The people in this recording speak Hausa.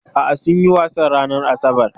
A'a, sunyi wasan ranar asabar.